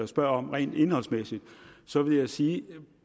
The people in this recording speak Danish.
spørger om rent indholdsmæssigt så vil jeg sige